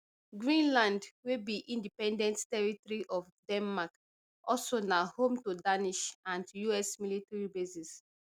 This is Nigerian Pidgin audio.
greenland wey be independent territory of denmark also na home to danish and us military bases